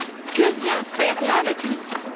Que vient faire là la Tunisie?